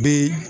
Bi